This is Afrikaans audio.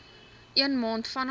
een maand vanaf